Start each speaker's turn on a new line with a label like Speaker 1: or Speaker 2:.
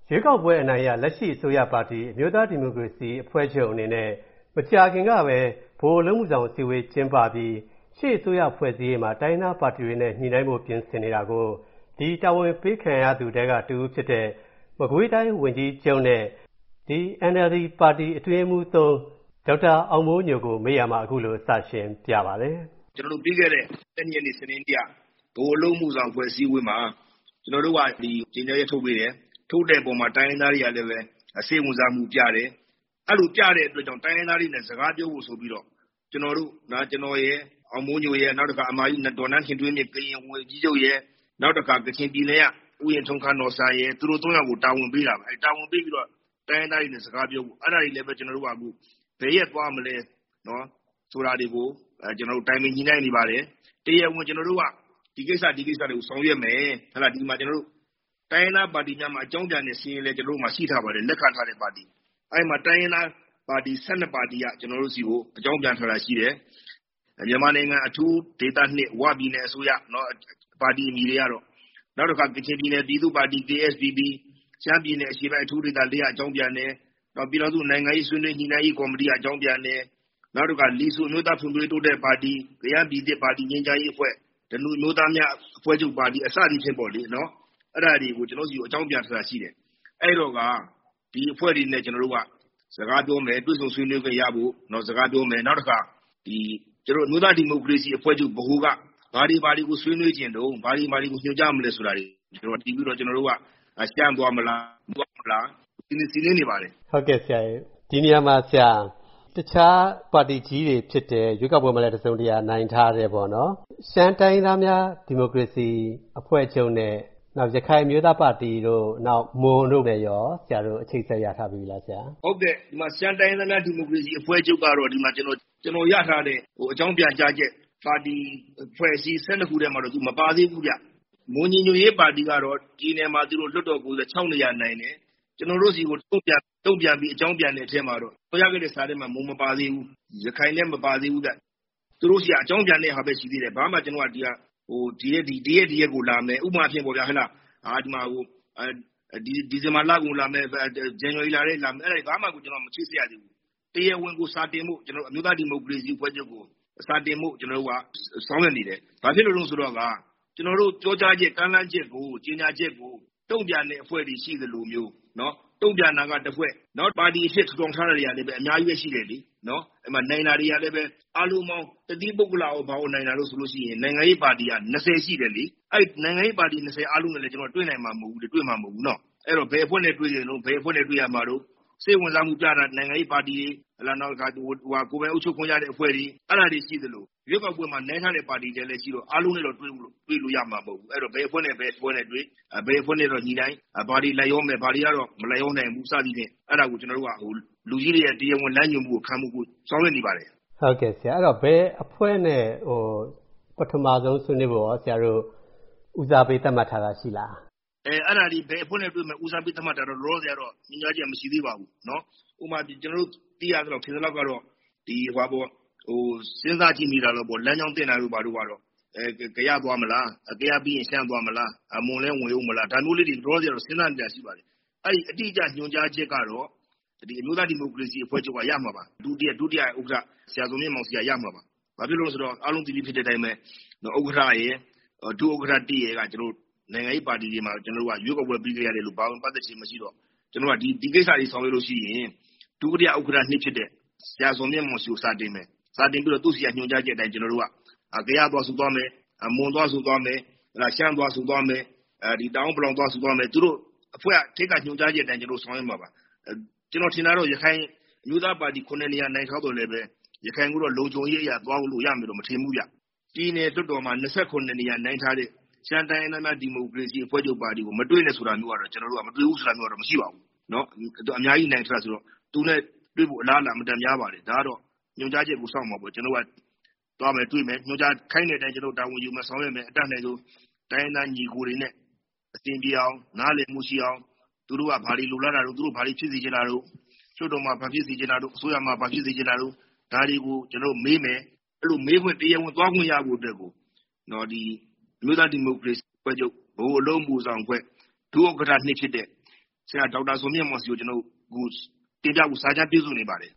Speaker 1: ရွေးကောက်ပွဲအနိုင်ရ လက်ရှိအစိုးရပါတီ အမျိုးသား ဒီမိုကရေစီအဖွဲ့ချုပ်အနေနဲ့ မကြာခင်ကပဲ ဗဟိုအလုပ်မှုဆောင်အစည်းအဝေး ကျင်းပပြီး အစိုးရအဖွဲ့အစည်းတွေမှာ တိုင်းရင်းသားပါတီတွေနဲ့ ညှိနှိုင်းဖို့ ပြင်ဆင်နေတာကို ဒီတာဝန်ပေးခံရသူတွေထဲက တဦးဖြစ်တဲ့ မကွေးတိုင်းဝန်ကြီးချုပ်နဲ့ ဒီ NLD ပါတီ အတွင်းရေးမှူး ၃ ဒေါက်တာ အောင်မိုးညိုကို ဗွီအိုအေမြန်မာပိုင်းသတင်းထောက် ကိုဝင်းမင်းက မေးရာမှာ အခုလို စရှင်းပြပါတယ်။
Speaker 2: ကျနော်တို့ ပြီးခဲ့တဲ့ ၁၂ ရက်နေ့ စနေနေ့က ဗဟိုအလုပ်အမှုဆောင်အဖွဲ့ အစည်းအဝေးမှာ ကျနော်တို့က ကြေညာချက်ထုတ်အပေါ်မှာ တိုင်းရင်းသားတွေကလည်းပဲ စိတ်ဝင်စားမှုပြတယ်။ အဲဒီလို ပြတဲ့အတွက်ကြောင့်မို့ တိုင်းရင်းသားတွေနဲ့ စကားပြောဖို့ဆိုပြီးတော့ ကျနော်ရယ် နောက်တခါ အမကြီး ဒေါ်နန်းခင်ထွေးမြင့် ကရင်ဝန်ကြီးချုပ်ရယ်၊ နောက်တခါ ကချင်ပြည်နယ်က ဦးအင်ထုံးခန်းနော်ဆန် သုံးယောက်ကို တာဝန်ပေးတာပေါ့။ တာဝန်ပေးပြီးတော့ တိုင်းရင်းသားတွေနဲ့ စကားပြောဖို့၊ ကျနော်တို့က ဘယ်ရက်သွားမလဲဆိုတာတွေကို ကျနော်တို့ တိုင်ပင်ညှိနှိုင်းနေပါတယ်။ တိုင်းရင်သားပါတီများမှာ အကြောင်းပြန်တဲ့ စာရင်းလည်း ကျနော်တို့မှာ ရှိထားပါတယ်၊ အဲဒီမှာ တိုင်းရင်းသားပါတီ ၁၂ ပါတီက ကျနော်တို့ဆီကို အကြောင်းပြန်ထားတာရှိတယ်။ မြန်မာနိုင်ငံ အထူး ဒေသ ဝပြည်နယ်အစိုးရ.... ပါတီအမည်တွေကတော့၊ နောက်တခါ ကချင်ပြည်နယ် ပြည်သူ့ပါတီ KSPP၊ ရှမ်းပြည်နယ် အရှေ့ပိုင်းအထူးဒေသ ၄ က အကြောင်းပြန်တယ်၊ နောက် ပြည်ထောင်စုနိုင်ငံရေး ဆွေးနွေးညှိနှိုင်းရေးကော်မတီက အကြောင်းပြန်တယ်၊ နောက်တခါ လီဆူး အမျိုးသားဖွံ့ဖြိုးတိုးတက်ရေးပါတီ၊ ကယန်းပြည်သစ်ပါတီ ငြိမ်းချမ်းရေးအဖွဲ့၊ ဓနုအမျိုးသားများ အဖွဲ့ချုပ်ပါတီ စသည်ဖြင့်ပေါ့လေ.... အဲဒါတွေကို ကျနော်တို့ဆီကို အကြောင်းပြန်ထားတာရှိတယ်။ အဲဒီတော့ ဒီအဖွဲ့တွေနဲ့ ကျနော်တို့က စကားပြောမယ်၊ တွေ့ဆုံ ဆွေးနွေးခွင့်ရဖို့ စကားပြောမယ်။ နောက်တခါ အမျိုးသားဒီမိုကရေစီအဖွဲ့ချုပ် ဗဟိုက ဘာတွေ၊ ဘာတွေကို ဆွေးနွေးချင်တုန်း၊ ဘာတွေ၊ ဘာတွေကို ညွှန်ကြားမလဲဆိုတာတွေကို မူတည်ပြီးတော့ ကျနော်တို့က ရှမ်းသွားမလား၊ ဘယ်သွားမလဲဆိုတာ စီစဉ်နေပါတယ်။
Speaker 3: ဟုတ်ကဲ့ပါဆရာရေ၊ ဒီနေရာမှာ တခြား ပါတီကြီးတွေ ဖြစ်တဲ့ ရွေးကောက်ပွဲမှာလည်း နိုင်ထားတဲ့ ရှမ်းတိုင်းရင်းသားများဒီမိုကရေစီအဖွဲ့ချုပ်နဲ့ ရခိုင်အမျိုးသားပါတီတို့ မွန်တို့နဲ့ရော ဆရာတို့ အချိတ်အဆက်ရထားပြီးပြီလား ဆရာ။
Speaker 2: ဟုတ်ကဲ့။ ရှမ်းတိုင်းရင်းသားများ ဒီမိုကရေစီအဖွဲ့ချုပ်ကတော့ ဒီမှာ ကျနော်ရထားတဲ့ အကြောင်းပြန်ကြားချက် ပါတီအဖွဲ့အစည်း ၁၂ ခုထဲမှာတော့ သူမပါသေးဘူး ဗျ။ မွန်ညီညွတ်ရေးပါတီကတော့ ပြည်နယ်မှာ လွှတ်တော်ကိုယ်စားလှယ် ၆ နေရာနိုင်တယ်။ ကျနော်တို့ဆီကို တုံ့ပြန်ပြီး အကြောင်းပြန်တဲ့အထဲမှာတော့ ဖော်ပြခဲ့တဲ့ စာထဲမှာတော့ မွန်မပါသေးဘူး၊ ရခိုင်လည်း မပါသေးဘူးဗျ။ သူတို့ဆီက အကြောင်းပြန်တဲ့ဟာပဲ ရှိသေးတယ်။ ဘာမှ ကျနော်တို့က ဒီရက်၊ ဒီရက်ကို လာမယ်... ဥပမာအားဖြင့် ဒီဇင်ဘာလကုန်လာမယ်၊ ဇန်နဝါရီလထဲလာမယ်... အဲဒါတွေဘာမှာ မစိစစ်ရသေးဘူး။ တရားဝင်ကို စာတင်ဖို့ ကျနော်တို့ အမျိုးသားဒီမိုကရေစီအဖွဲ့ချုပ်ကို စာတင်ဖို့က ကျနော်တို့ ဆောင်ရွက်နေတယ်။ ဘာဖြစ်လို့လဲဆိုတော့ ကျနော်တို့ ပြောကြားချက်၊ ကမ်းလှမ်းချက်၊ ကြေငြာချက်ကို တုံ့ပြန်တဲ့အဖွဲ့တွေရှိသလိုမျိုး၊ တုံ့ပြန်တာက တစ်ဖွဲ့၊ နောက် ပါတီအဖြစ်ထူထောင်ထားတာတွေကလည်း အများကြီးပဲ ရှိတယ်လေ။ ဥပမာ နိုင်တာတွေကလည်းပဲ၊ အားလုံးပေါင်း တသီးပုဂ္ဂလရော၊ ဘာရော နိုင်တာဆိုလို့ရှိရင် နိုင်ငံရေးပါတီက ၂၀ ရှိတယ်လေ။ အဲဒီ နိုင်ငံရေးပါတီ ၂၀ အားလုံးနဲ့လည်း ကျနော် တွေ့နိုင်မှာ မဟုတ်ဘူးလေ၊ တွေ့မှာ မဟုတ်ဘူးလေ နော်။ အဲဒီတော့ ဘယ်အဖွဲ့နဲ့ တွေ့နေတုန်း၊ ဘယ်အဖွဲ့နဲ့ တွေ့ရမှာတို့၊ စိတ်ဝင်စားမှု ပြတဲ့ နိုင်ငံရေးပါတီတွေ၊ နောက်တခါ ကိုယ်ပိုင်အုပ်ချုပ်ခွင့်ရတဲ့ အဖွဲ့တွေ၊ အဲဒါတွေရှိသလို ရွေးကောက်ပွဲမှာ နိုင်ထားတဲ့ ပါတီတွေလည်းရှိတော့ အားလုံးနဲ့တော့ တွေ့ဖို့ တွေ့ခွင့်ရမှာ မဟုတ်ဘူး။ အဲဒီတော့ ဘယ်အဖွဲ့နဲ့ ဘယ်အဖွဲ့နဲ့တွေ့၊ ဘယ်အဖွဲ့နဲ့တော့ ညှိနှိုင်း၊ ဘာတွေ လိုက်ရောမယ်၊ ဘာတွေကတော့ မလိုက်ရောနိုင်ဘူး စသည်ဖြင့် အဲဒါကို ကျနော်တို့က လူကြီးတွေရဲ့ တရားဝင်လမ်းညွှန်မှုကို ခံယူဖို့ ဆောင်ရွက်နေပါတယ်။
Speaker 3: အဲဒီတော့ ဘယ်အဖွဲ့နဲ့ ပထမဆုံးဆွေးနွေးဖို့ရော ဦးစားပေးသတ်မှတ်ထားတာရှိလား။
Speaker 2: အဲဒါသည် ဘယ်အဖွဲ့နဲ့ တွေ့မယ်... ဦးစားပေးသတ်မှတ်တာတော့ လောလောဆယ်ကတော့ ညွှန်ကြားချက်မရှိသေးပါဘူး။ ဥပမာ ကျနော်တို့ သိရသလောက် ထင်သလောက်တော့၊ စဉ်းစားကြည့်မိတာတော့၊ လမ်းကြောင်းသင့်တာတို့ ဘာတို့ကတော့ ကယားသွားမလား၊ ကယားပြီးရင် ရှမ်းသွားမလား၊ မွန်လည်း ဝင်အုန်းမလား၊ ဒါမျိုးလေးတွေ လောလောဆယ်ကတော့ စဉ်းစားနေတာရှိပါတယ်။ အဲဒီအတိအကျ ညွှန်ကြားချက်ကတော့ ဒီ အမျိုးသားဒီမိုကရေစီအဖွဲ့ချုပ်ကရမှာပါ။ ဒုတိယဥက္ကဋ္ဌ ဆရာဇော်မြင့်မောင်ဆီက ရမှာပါ။ ဘာဖြစ်လို့လဲဆိုတော့ အားလုံးသိပြီးသားဖြစ်တဲ့အတိုင်းပဲ ဥက္ကဋ္ဌရယ်၊ ဒုဥက္ကဋ္ဌ ၁ ရယ်က ကျနော်တို့ နိုင်ငံရေးပါတီတွေမှာ ရွေးကောက်ပွဲပြီးကတည်းက ပါဝင်ပတ်သတ်ခြင်းမရှိတော့ ဒီကိစ္စတွေ ဆောင်ရွက်လို့ရှိရင် ဒုတိယ ဥက္ကဋ္ဌ ၂ ဖြစ်တဲ့ ဆရာဇော်မြင့်မောင်ဆီကို စာတင်မယ်၊ စာတင်ပြီးတော့ သူ့ဆီက ညွှန်ကြားချက်အတိုင်း ကျနော်တို့က ကယားသွားဆိုသွားမယ်၊ မွန်သွားဆိုသွားမယ်၊ ရှမ်းသွားဆိုသွားမယ်။ ကျနော်တို့ အထက်က ညွှန်ကြားချက်အတိုင်း ဆောင်ရွက်မှာပါ။ ကျနော်ထင်တာတော့ ရခိုင်အမျိုးသားပါတီ ၇ နေရာ နိုင်ထားသော်လည်းပဲ ရခိုင်ကိုတော့ လုံခြုံရေးအရသွားလို့ ရမယ်လို့တော့ မထင်ဘူးဗျ။ ပြည်နယ်လွှတ်တော်မှာ ၂၇ နေရာနိုင်ထားတဲ့ ရှမ်းတိုင်းရင်းသားများ ဒီမိုကရေစီအဖွဲ့ချုပ်ပါတီ မတွေ့နဲ့ဆိုတာမျိုး၊ မတွေ့ဘူးဆိုတာမျိုးကတော့ မရှိပါဘူး။ သူက အများကြီးနိုင်ထားတာဆိုတော့ သူနဲ့ဲ့ တွေ့ဖို့ အလားအလာ အင်မတန်များပါတယ်။ ဒါကတော့ ညွှန်ကြားချက်ကို စောင့်မှာပေါ့။ ကျနော်တို့က သွားမယ်၊ တွေ့မယ်၊ ခိုင်းတဲ့အတိုင်း ကျနော် တာဝန်ယူမယ်၊ ဆောင်ရွက်မယ်၊ အတတ်နိုင်ဆုံး တိုင်းရင်းသား ညီအကိုတွေနဲ့ အဆင်ပြေအောင်၊ နားလည်မှုရှိအောင်၊ သူတို့က ဘာတွေလိုလားတာတို့၊ သူတို့ ဘာတွေ ဖြစ်စေချင်တာတို့၊ လွှတ်တော်မှာ ဘာဖြစ်စေချင်တာတို့၊ အစိုးရမှာ ဘာဖြစ်စေချင်တာတို့၊ ဒါတွေကို ကျနော်တို့ မေးမယ်။ အဲဒီလို့ မေးခွင့် တရားဝင်သွားခွင့်ရဖို့အတွက်ကို ဒီအမျိုးသားဒီမိုကရေစီအဖွဲ့ချုပ်ကို အလုပ်အမှုအဆောင်အဖွဲ့ ဒုဥက္ကဋ္ဌ ၂ ဖြစ်တဲ့ ဆရာဒေါက်တာ ဇော်မြင့်မောင်ဆီကို ကျနော်တို့ တင်ပြဖို့ ကျနော်တို့ စာကြမ်း ပြုစုနေပါတယ်